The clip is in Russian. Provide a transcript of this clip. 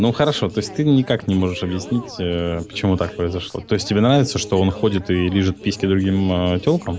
ну хорошо то есть ты никак не можешь объяснить почему так произошло то есть тебе нравится что он ходит и лижет письки другим телкам